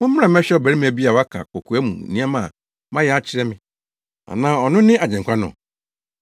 “Mommra mmɛhwɛ ɔbarima bi a waka kokoa mu nneɛma a mayɛ akyerɛ me! Anaa ɔno ne Agyenkwa no?”